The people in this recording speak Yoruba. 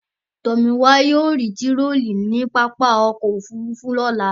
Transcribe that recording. Tomiwa yóò rí tirọlí ní pápá ọkọ̀-òfurufú lọ́la.